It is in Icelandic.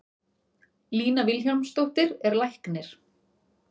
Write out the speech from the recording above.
Lína Vilhjálmsdóttir er læknir.